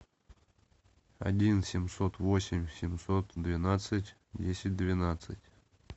один семьсот восемь семьсот двенадцать десять двенадцать